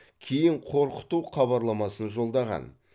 кейін қорқыту хабарламасын жолдаған